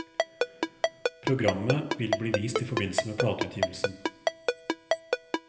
Programmet vil bli vist i forbindelse med plateutgivelsen.